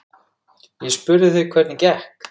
Ég spurði þig hvernig gekk.